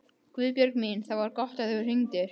Guðbjörg mín, það var gott að þú hringdir.